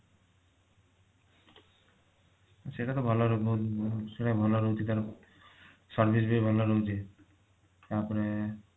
ସେଇଟା ତ ଭଲ ବହୁ ଭଲ ସେଟା ଭଲ ରହୁଛି ତାର service ବି ଭଲ ରହୁଛି ତାପରେ